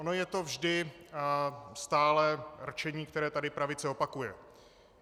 Ono je to vždy stálé rčení, které tady pravice opakuje.